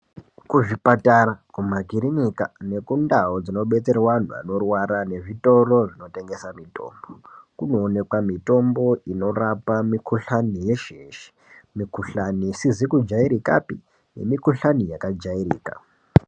Kuzvipatara kumakirinika nekundau dzinobetserwa antu anorwara nezvitoro zvinotengesa mitombo, kunoonekwa mitombo inorapa antu eshe eshe, mikhuhlani isizi kujairikapi nemikhuhlani yakajairika.